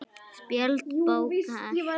Spjöld bókar